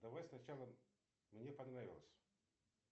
давай сначала мне понравилось